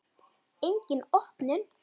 Engin opnun.